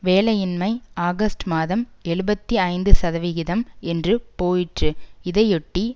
வேலையின்மை ஆகஸ்ட் மாதம் எழுபத்தி ஐந்து சதவிகிதம் என்று போயிற்று இதையொட்டி